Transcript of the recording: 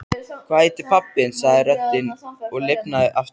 Hvað heitir pabbi þinn? sagði röddin og lifnaði aftur.